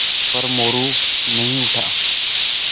पर मोरू नहीं उठा